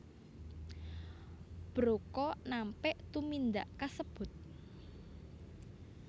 Broca nampik tumindak kasebut